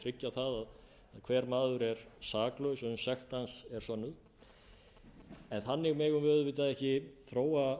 tryggja það að hver maður er saklaus uns sekt hans er sönnuð en þannig megum við auðvitað ekki þróa